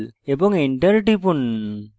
এবং enter টিপুন